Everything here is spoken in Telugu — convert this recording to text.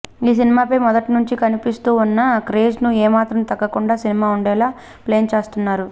ఈ సినిమాపై మొదట్నుంచీ కనిపిస్తూ ఉన్న క్రేజ్కు ఏమాత్రం తగ్గకుండా సినిమా ఉండేలా ప్లాన్ చేస్తున్నారు